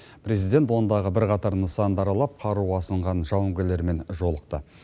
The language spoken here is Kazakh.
президент ондағы бірқатар нысанды аралап қару асынған жауынгерлермен жолықты